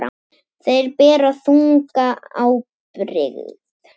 Þeir bera þunga ábyrgð.